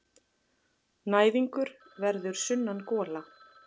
Næðingur verður sunnangola.